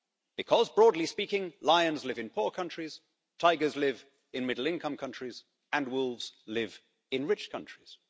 Because broadly speaking lions live in poor countries, tigers live in middle income countries, and wolves live in rich countries.